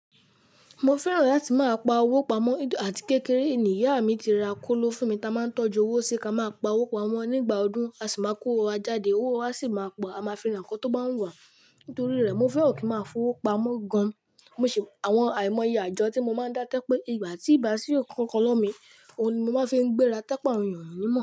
Mo fẹ́ràn láti máa pa owó pamọ́ àti kékeré ni ìyá mi ti ra kóló fún mi ta máa ń tọ́jú owó sí ká máa pa owó pamọ́ nígbà ọdún, a sì máa kówó wá jáde, owó a sì máa pọ̀, a máa fi ra nǹkan tó bá wù wá nítorí rẹ̀. Mo fẹ́ràn kí n máa fowó pamọ́ gan. Àìmọye àjọ tí mo máa ń dá tó jẹ́ pé ìgbà tí kò bá sí ǹkan kan lọ́wọ́ mi ohun ni mo máa ń fi gbéra tó jẹ́ àwọn ènìyàn ò ni mo.